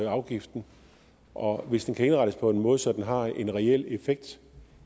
afgiften og hvis den kan indrettes på en måde så den har en reel effekt